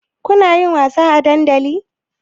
Kunayin wasa a dandali?